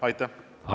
Aivar Sõerd.